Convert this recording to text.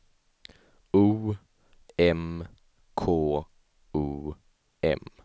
O M K O M